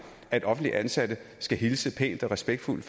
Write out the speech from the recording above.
at offentligt ansatte hilser pænt og respektfuldt